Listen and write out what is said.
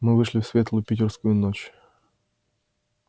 мы вышли в светлую питерскую ночь